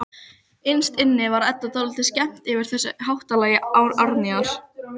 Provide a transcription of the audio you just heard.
Innst inni var Eddu dálítið skemmt yfir þessu háttalagi Árnýjar.